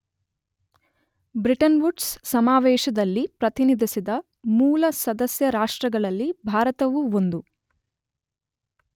Bretton Woods ಸಮಾವೇಶದಲ್ಲಿ ಪ್ರತಿನಿಧಿಸಿದ ಮೂಲ ಸದಸ್ಯ ರಾಷ್ಟ್ರಗಳಲ್ಲಿ ಭಾರತವೂ ಒಂದು.